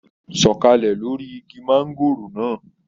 Sọ̀kàlẹ̀ lóri igi mangòrò náà!